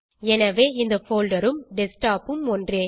எனவே இந்த போல்டர் ம் டெஸ்க்டாப் ம் ஒன்றே